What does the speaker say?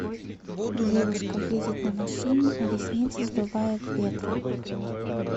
девушка едет на машине а ресницы сдувает ветром